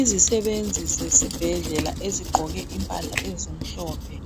Izisebenzi zesibhedlela ezigqoke impahla ezimhlophe